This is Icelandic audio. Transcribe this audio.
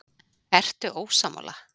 Ertu ósammála?